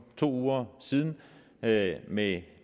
to uger siden med med